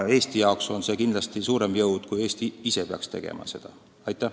Eesti jaoks tähendab see kindlasti suuremat jõudu sellest, kui me peaks seda ise tegema.